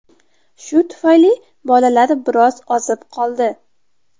Shu tufayli bolalar biroz ozib qoldi.